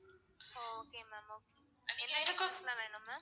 ஒ okay ma'am okay என்ன proof லாம் வேணும் ma'am?